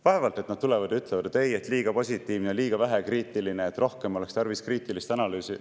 Vaevalt et nad tulevad ja ütlevad, et ei, liiga positiivne ja liiga vähe kriitiline, rohkem oleks tarvis kriitilist analüüsi.